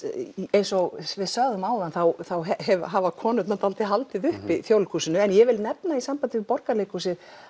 eins og við sögðum áðan þá hafa konurnar dálítið haldið uppi Þjóðleikhúsinu en ég vil nefna í sambandi við Borgarleikhúsið